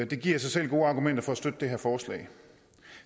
det giver i sig selv gode argumenter for at støtte det her forslag